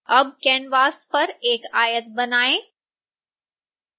अब canvas पर एक आयत बनाएँ